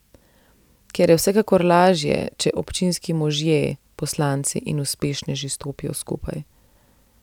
Kar je vsekakor lažje, če občinski možje, poslanci in uspešneži stopijo skupaj.